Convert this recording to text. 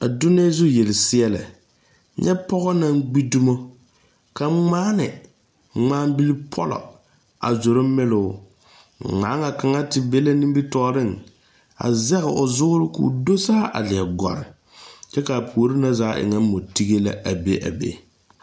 A donnee zu yelseɛlɛ nyɛ pɔge naŋ gbi dumo ka ŋmaane ŋmaabilipɔlɔ a zoro meloo ŋmaaŋa kaŋa te be la nimitɔɔreŋ a zɛge o zoore k,o do saa a gɔre kyɛ k,a puori na zaa e ŋa mɔtige la a be a be.